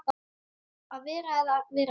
Að vera eða vera ekki.